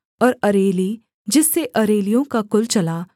और अरेली जिससे अरेलियों का कुल चला